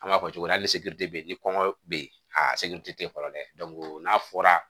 An b'a fɔ cogo min na hali bɛ yen ni kɔngɔ bɛ yen a se tɛ fɔlɔ dɛ n'a fɔra